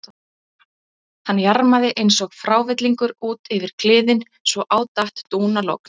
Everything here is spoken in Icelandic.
Hann jarmaði eins og frávillingur út yfir kliðinn svo á datt dúnalogn.